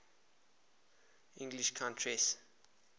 english countesses